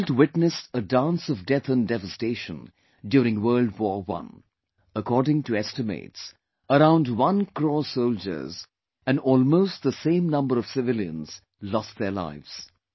The world witnessed a dance of death and devastation during the World War I; According to estimates, around one crore soldiers and almost the same number of civilians lost their lives